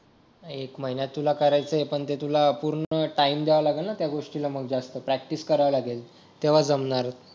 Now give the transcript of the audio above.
एक महिना तुला करायचं पण ते तुला पूर्ण टाईम द्यावा लागेल ना त्या गोष्टीला जास्त प्रॅक्टिस करावी लागेल तेव्हा जमणार